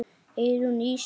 Eyrún Ísfold.